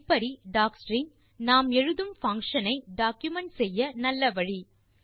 இப்படி டாக்ஸ்ட்ரிங் நாம் எழுதும் பங்ஷன் ஐ டாக்குமென்ட் செய்ய நல்ல வழி